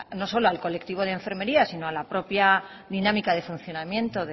no solo al colectivo de enfermería sino a la propia dinámica de funcionamiento